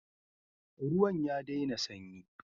Ruwan ya daina sanyi.